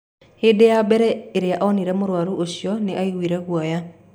Hĩndĩ ya mbere ĩrĩa onire mũrwaru ũcio, nĩ aaiguire guoya.